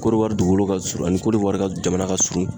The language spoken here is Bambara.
Korowari dugukolo ka surun ani korowari ka jamana ka surun.